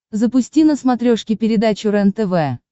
запусти на смотрешке передачу рентв